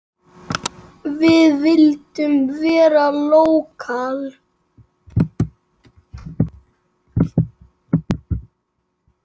Við vildum vera lókal.